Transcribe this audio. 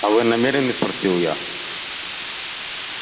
а вы намерены спросил я